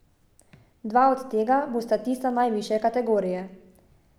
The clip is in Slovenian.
Dva od tega bosta tista najvišje kategorije.